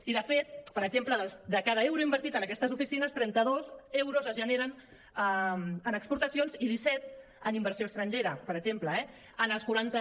i de fet per exemple de cada euro invertit en aquestes oficines trenta dos euros es generen en exportacions i disset en inversió estrangera per exemple eh en els quaranta